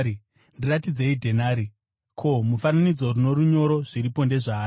“Ndiratidzei dhenari. Ko, mufananidzo norunyoro zviripo ndezvani?”